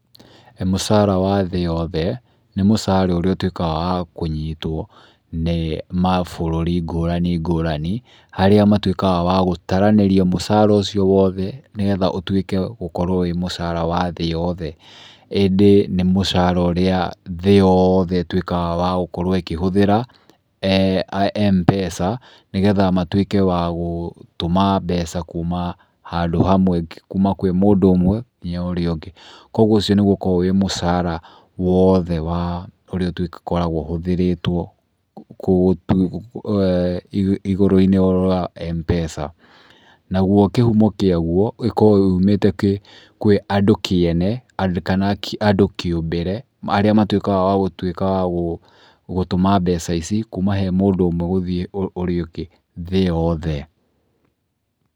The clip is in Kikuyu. Mũcara wa thĩ yothe nĩ mũcara ũrĩa ũtuĩkaga wa kũnyitwo nĩ mabũrũri ngũrani ngũrani, harĩa matuĩkaga wa gũtaranĩria mũcara ũcio wothe nĩ getha ũtuĩke gũkorwo wĩ mũcara wa thĩ yothe. Ĩndĩ nĩ mũcara ũrĩa thĩ yothe ĩtuĩkaga wa gũkorwo ĩkĩhũthĩra Mpesa nĩ getha matuĩke wa gũtũma mbeca kuma handũ hamwe, kuma kwĩ mũndũ ũmwe nginya ũrĩa ũngĩ. Kuũguo ũcio nĩguo ũkoragwo wĩ mũcara wothe wa ũrĩa tũkoragwo ũhũthĩrĩtwo igũrũ-inĩ wa Mpesa. Naguo kĩhumo kĩaguo gĩkoragwo yumĩte kwĩ andũ kĩene kana andũ kĩũmbĩre arĩa matuĩkaga wa gũtuĩka wa gũtũma mbeca ici kuma he mũndũ ũmwe gũthiĩ ũrĩa ũngĩ thĩ yothe.